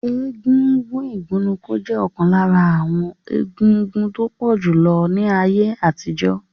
Egúngún igunnuko je okan lara awon egúngún to pojulo julo ni aye atijo.